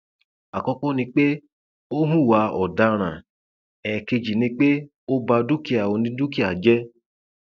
àkọkọ ni pé ó hùwà ọdaràn ẹẹkejì ni pé ó bá dúkìá onídùkìá jẹ